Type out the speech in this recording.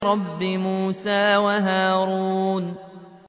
رَبِّ مُوسَىٰ وَهَارُونَ